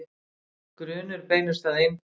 Grunur beinist að einbúa